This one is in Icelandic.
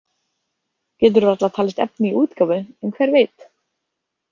Getur varla talist efni í útgáfu, en hver veit?